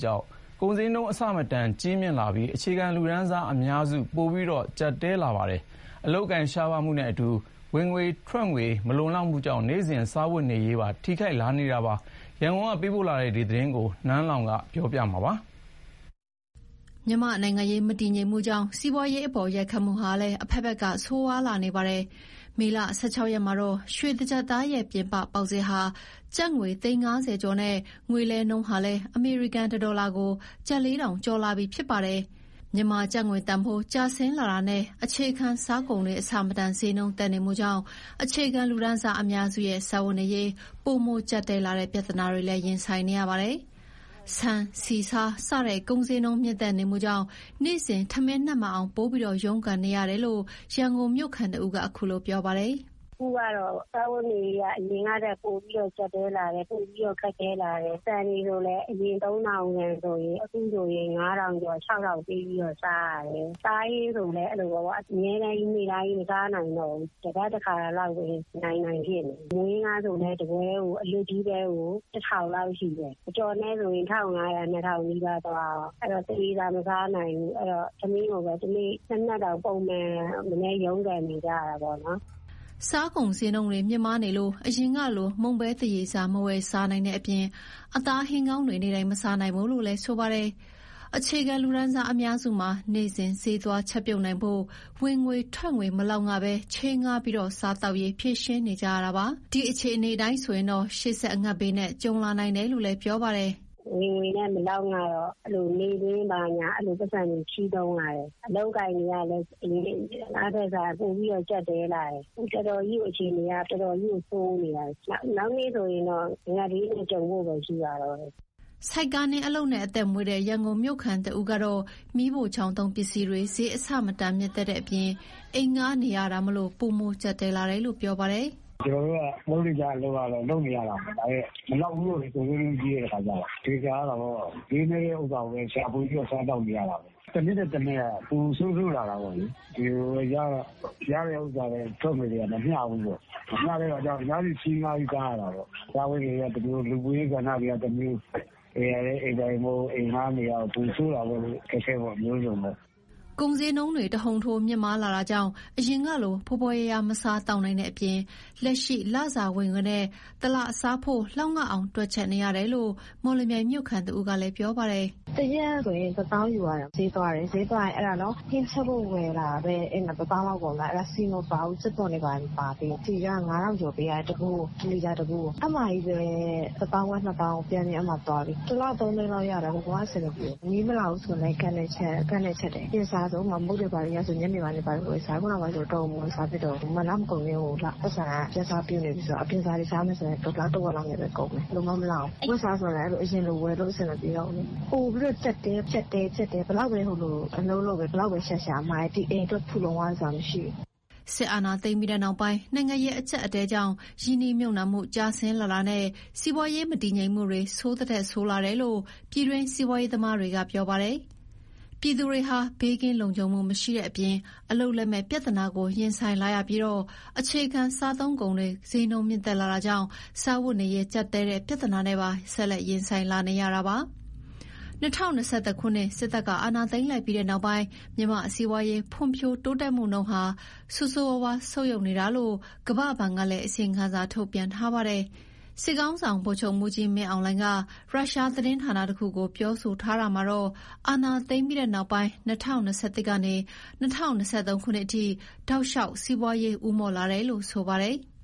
ကြောင် ကုန်ဈေးနှုန်းအဆမတန် ကြီးမားလာပြီး အခြေခံလူတန်းစားအများစု ပိုပြီး ကျပ်တည်းလာကြပါတယ်။ အလုပ်အကိုင်ရှားပါးမှုနဲ့အတူ ဝင်ငွေထွက်ငွေမမျှမှုတွေကြောင့် နေ့စဉ်စားဝတ်နေရေးပါ ထိခိုက်လာကြရပါတယ်။ ဒီအကြောင်း ရန်ကုန်က သတင်းပေးပို့ချက်ကို နန်းလောင်ဝ်ကတင်ပြပေးထားပါတယ်။ မြန်မာ့နိုင်ငံရေး မတည်ငြိမ်မှုကြောင့် စီးပွားရေးအပေါ် ရိုက်ခတ်မှုဟာ အဖက်ဖက်က ဆိုးရွားလာနေတာပါ။ မေလ ၁၆ ရက် မှာတော့ ရွှေတကျပ်သားရဲ့ ပြင်ပပေါက်ဈေးဟာ ကျပ်ငွေ သိန်း ၅၀ ကျော်နဲ့ ငွေလဲနှုန်းဟာလည်း အမေရိကန်တဒေါ်လာ ကျပ် ၄,၀၀၀ ကျော်လာပြီ ဖြစ်ပါတယ်။ မြန်မာကျပ်ငွေ တန်ဖိုးကျလာတာနဲ့ အခြေခံစားကုန်တွေ အဆမတန်ဈေးနှုန်းတက်နေမှုကြောင့် အခြေခံ လူတန်းစားအများစုက စားဝတ်နေရေး ပိုမိုကျပ်တည်းတဲ့ ပြဿနာတွေ ရင်ဆိုင်နေရပါတယ်။ ဆန်၊ ဆီ၊ ဆား စတဲ့ ကုန်ဈေးနှုန်း မြင့်တက်နေမှုကြောင့် နေ့စဉ် ထမင်းနပ်မှန်အောင် ပိုမို ရုန်းကန်နေရတာလို့ ရန်ကုန်မြို့ခံတဦးက ခုလို ပြောပါတယ်။ “အခုကတော့ စားဝတ်နေရေးက အရင်ကထက်ပိုပြီးတော့ ကျပ်တည်းလာတယ်၊ ပိုပြီးတော့ ခက်ခဲလာတယ်။ ဆန်ဆိုလည်း အရင် ၃,၀၀၀ နဲ့ဆိုရင် အခု ၅,၀၀၀ ကျော်၊ ၆,၀၀၀ ပေးပြီးတော့ စားရတယ်။ အသားဟင်းဆိုလည်း အဲ့လိုပေါ့ အမြဲတမ်းကြီး နေ့တိုင်းမစားနိုင်ဘူးပေါ့။ တပတ်တခါလောက်ပဲ အနိုင်နိုင်ဖြစ်နေပြီ။ မုန့်ဟင်းခါးဆိုလည်း တပွဲကို အလွတ်ကြီးပဲကို ၁,၀၀၀ လောက်ရှိတယ်၊ အကြော်နဲ့ဆိုရင် ၁,၅၀၀၊ ၂၀၀ နီးပါးသွားရော။ အဲ့တော့ သရေစာမစားနိုင်ဘူး။ ထမင်းကိုပဲ တနေ့နှစ်နပ်တောင် ပုံမှန်မနည်း ရုန်းကန်နေကြရတာပေါ့။နော်။” စားကုန်ဈေးတွေ မြင့်မားလို့ အရင်ကလို မုန့်ပဲသရေစာ မဝယ်စားနိုင်တဲ့အပြင် အသားဟင်းကောင်းတွေ နေ့တိုင်းမစားနိုင်ဘူးလို့ ဆိုပါတယ်။ အခြေခံလူတန်းစားအများစုမှာ နေ့စဉ် ဈေးသွားချက်ပြုနိုင်ဖို့ ဝင်ငွေထွက်ငွေ မလောက်ငဘဲ ချေးငှားပြီး စားသောက်ရေး ဖြေရှင်းနေကြရတာပါ။ ဒီအခြေအနေအရ ရှေ့ဆက် အငတ်ဘေးနဲ့ ကြုံလာနိုင်တယ်လို့ ပြောပါတယ်။ “ဝင်ငွေနဲ့ မလောက်ငတော့ အဲ့လိုနေ့ပေး ဘာညာ အဲ့လိုပိုက်ဆံတွေ ချေးသုံးရတယ်။ အလုပ်အကိုင်တွေကလည်း အရင်ကထက်စာရင် ပိုပြီးတော့ ကျပ်တည်းလာတယ်။ အခုအခြေအနေက တော်တော်ကြီးကို ဆိုးနေတာ။ နောက်နှစ်ဆိုရင်တော့ အငတ်ဘေးနဲ့ ကြုံဖို့ပဲ ရှိပါတော့တယ်။” ဆိုက္ကားနင်းပြီး အသက်မွေးတဲ့ ရန်ကုန်မြို့ခံတဦးကတော့ မီးဖိုချောင်သုံးပစ္စည်းတွေ ဈေးအဆမတန် မြင့်တက်တဲ့အပြင် အိမ်ငှားနေရတာမို့ ပိုမိုကျပ်တည်းတယ်လို့ ပြောပါတယ်။ “ကျနော်တို့က လုပ်နေကျအလုပ်က လုပ်နေရတာပဲ။ ဒါပေမယ့် မလောက်ဘူးပေါ့။ ကုန်ဈေးနှုန်းကြီးတယ်။ တခါကျရင် ချွေတာရတာပေါ့၊ ဈေးနည်းတဲ့ဥစ္စာကိုပဲ ရှာဖွေပြီးတော့ စားသောက်နေရတာပဲ။ တနှစ်ထက် တနှစ်က ပို ဆိုးဆိုးလာတယ်ပေါ့လေ။ ရတဲ့ဥစ္စာနဲ့ ထွက်ငွေက မမျှဘူးပေါ့။ မမျှတဲ့အခါကျ သူများဆီချေးငှားပြီး စားရတာပေါ့။ စားဝတ်နေရေးကတမျိုး၊ လူမှုရေးကဏ္ဍတွေက တမျိုး၊ အိမ်ကလည်း အိမ်ငှားနေရတယ်။ ပိုဆိုးတာပေါ့လေ။ အခက်အခဲပေါင်း အမျိုးစုံပဲ။” ကုန်ဈေးနှုန်းတွေ တဟုန်ထိုး မြင့်မားလာတာကြောင့် အရင်ကလို ဖွယ်ဖွယ်ရာရာ မစားသောက်နိုင်တဲ့အပြင် လက်ရှိ လစာဝင်ငွေနဲ့ တလစားဖို့ လောက်ငအောင် တွက်ချက်နေရတယ်လို့ မော်လမြိုင်မြို့ခံတဦးက ပြောပါတယ်။ “တရက်ဆိုရင် တသောင်း ယူရတယ်၊ ဈေးသွားတယ်၊ ဈေးသွားရင် အဲ့ဒါနော် ဟင်းချက်ဖို့ဝယ်လာပဲ။ အဲ့မှာ တသောင်းလောက်ကုန်သွားတယ်၊ အဲ့ဒါ ဆီမပါဘူး။ ကြက်သွန်တွေ ဘာတွေ မပါသေးဘူး၊ ဆီက ငါးထောင်ကျော်ပေးရတယ်။ တဗူးကို တလီတာ တဗူးကို အဲ့မှာကြီးပဲ တသောင်းခွဲ နှစ်သောင်း ပျှမ်းမျှ သွားပြီ။ တလ သုံးလောက်ရတယ်။ ဘယ်လိုမှအဆင်မပြေဘူး။ မီးမလာဘူးဆိုရင်လည်း ဂက် နဲ့ချက်တယ်။ အပြင်အစာဆို ဥပမာ မုန့်တွေဘာတွေ အရင်ကဆို ညနေပိုင်း ဝယ်စားတယ်။ အခုနောက်ပိုင်းဆို တော်ရုံမဝယ်စားဖြစ်တော့ဘူး၊ လမကုန်ခင် ပိုက်ဆံက ပြတ်စပြုနေပြီဆိုတော့ အပြင်စာတွေ စားမယ်ဆိုရင် လတဝက် လောက်နဲ့ပဲ ကုန်တယ်။ ဘယ်လိုမှမလောက်ဘူး။ အဝတ်အစားဆိုလည်း အရင်လို ဝယ်လို့ အဆင်မပြေတော့ဘူးလေ။ ပိုပြီးတော့ ကျပ်တည်း ကျပ်တည်း ဘယ်လောက်ပဲ အလုပ် လုပ်၊ ဘယ်လောက်ပဲရှာရှာ ဒီအိမ်အတွက် ဖူလုံရသွားတယ်ဆိုတာ မရှိဘူး။” စစ်အာဏာသိမ်းပြီးနောက်ပိုင်း နိုင်ငံရေးအကျပ်အတည်းကြောင့် ရင်းနှီးမြှုပ်နှံမှုကျဆင်းတာနဲ့ စီးပွားရေးမတည်ငြိမ်မှုတွေ ဆိုးသထက်ဆိုးလာတယ်လို့ ပြည်တွင်းစီးပွားရေးသမားတွေက ပြောပါတယ်။ ပြည်သူတွေဟာ ဘေးကင်းလုံခြုံမှု မရှိတဲ့အပြင် အလုပ်လက်မဲ့ ပြဿနာကို ရင်ဆိုင်လာရပြီး အခြေခံစားသုံးကုန်တွေ ဈေးနှုန်းမြင့်တက်လာတာကြောင့် စားဝတ်နေရေး ကျပ်တည်းတဲ့ ပြဿနာနဲ့ပါ ဆက်လက်ရင်ဆိုင်လာရတာပါ။ ၂၀၂၁ ခုနှစ် စစ်အာဏာသိမ်းပြီးနောက်ပိုင်း မြန်မာ့စီးပွားရေး ဖွံ့ဖြိုးတိုးတက်မှုနှုန်း ဆိုးဆိုးရွားရွား ဆုတ်ယုတ်နေတာလို့ ကမ္ဘာ့ဘဏ်ကလည်း အစီရင်ခံစာ ထုတ်ပြန်ထားပါတယ်။ စစ်ခေါင်းဆောင်ဗိုလ်ချုပ်မှူးကြီးမင်းအောင်လှိုင်ကတော့ ရုရှားသတင်းဌာနတခုကို ပြောဆိုရာမှာ အာဏာသိမ်းပြီးနောက် ၂၀၂၁ ကနေ ၂၀၂၃ ခုနှစ်အထိ တောက်လျှောက်စီးပွားရေးဦးမော့လာတယ်လို့ ဆိုပါတယ်။